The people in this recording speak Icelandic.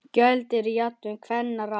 Köld eru jafnan kvenna ráð.